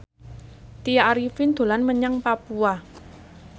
Tya Arifin dolan menyang Papua